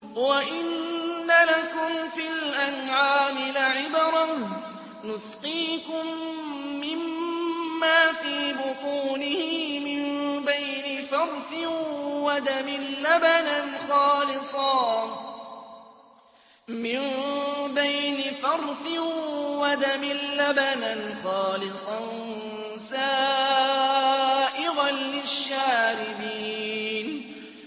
وَإِنَّ لَكُمْ فِي الْأَنْعَامِ لَعِبْرَةً ۖ نُّسْقِيكُم مِّمَّا فِي بُطُونِهِ مِن بَيْنِ فَرْثٍ وَدَمٍ لَّبَنًا خَالِصًا سَائِغًا لِّلشَّارِبِينَ